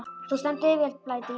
Þú stendur þig vel, Blædís!